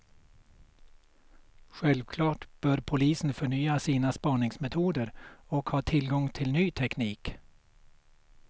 Självklart bör polisen förnya sina spaningsmetoder och ha tillgång till ny teknik.